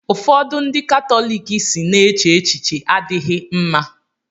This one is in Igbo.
ụfọdụ ndị Katọlik si na eche echiche adịghị mma